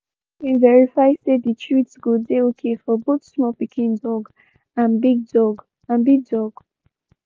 he been verify say the treats go dey okay for both small pikin dog and big dog. and big dog.